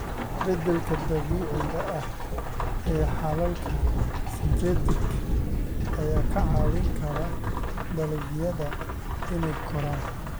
Beddelka dabiiciga ah ee xalalka synthetic ayaa ka caawin kara dalagyada inay koraan.